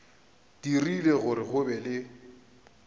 dirile gore go be le